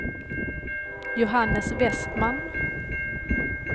Johannes Westman